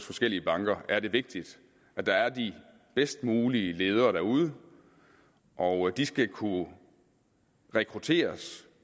forskellige banker er det vigtigt at der er de bedst mulige ledere derude og de skal kunne rekrutteres